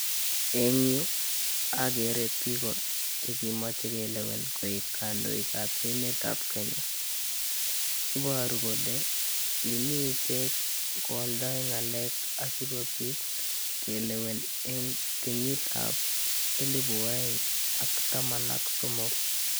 Eng yu agere biik che kimoche kelewen koik kandoikab emetab Kenya. Iboru kole kimii ichek koaldoi ngalek asigopit kelewen eng kenyitab 2013.